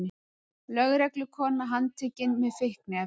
Lögreglukona handtekin með fíkniefni